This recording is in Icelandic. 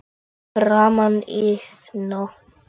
Fyrir framan Iðnó.